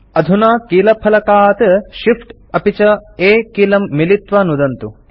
अधुना कीलफलकात् Shift अपि च A कीलं मिलित्वा नुदन्तु